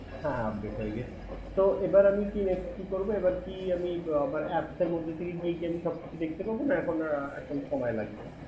হ্যা হ্যা update গিয়ে গেছে তো এবার আমি কি নেক্সট কি করবো আমি কি apps এর মধ্যে গিয়ে সবকিছু দেখতে পাবো না এখন wait করা লাগবে